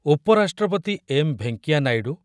ଉପରାଷ୍ଟ୍ରପତି ଏମ୍ ଭେଙ୍କିୟା ନାଇଡୁ